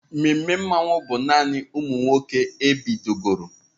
Ememe Mmanwu bụ naanị ụmụ nwoke ebidogoro.